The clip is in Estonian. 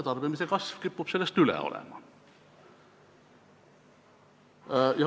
Tarbimise kasv kipub sellest üle olema.